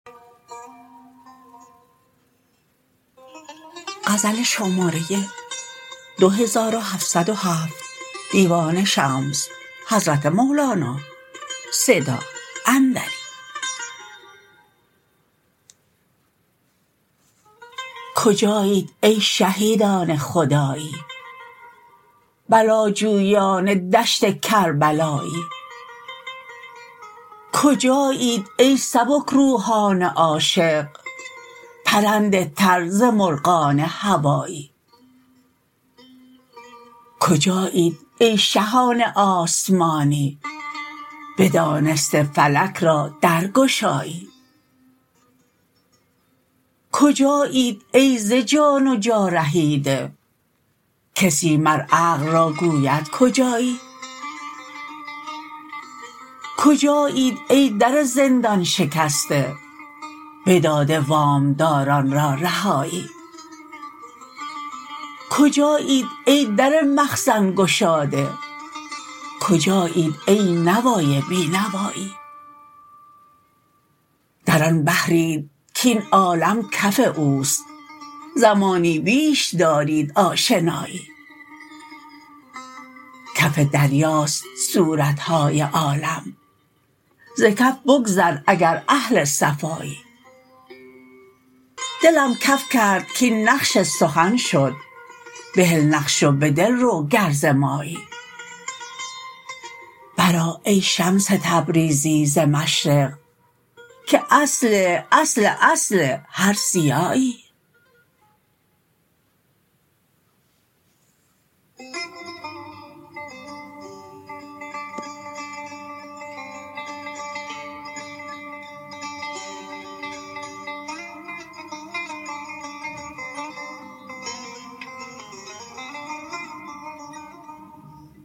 کجایید ای شهیدان خدایی بلاجویان دشت کربلایی کجایید ای سبک روحان عاشق پرنده تر ز مرغان هوایی کجایید ای شهان آسمانی بدانسته فلک را درگشایی کجایید ای ز جان و جا رهیده کسی مر عقل را گوید کجایی کجایید ای در زندان شکسته بداده وام داران را رهایی کجایید ای در مخزن گشاده کجایید ای نوای بی نوایی در آن بحرید کاین عالم کف اوست زمانی بیش دارید آشنایی کف دریاست صورت های عالم ز کف بگذر اگر اهل صفایی دلم کف کرد کاین نقش سخن شد بهل نقش و به دل رو گر ز مایی برآ ای شمس تبریزی ز مشرق که اصل اصل اصل هر ضیایی